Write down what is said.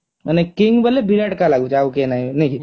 ମାନେ king ବୋଇଲେ ବିରାଟ କା ଲାଗୁଚି ଆଉ କେହି ନାଇଁ ନା କି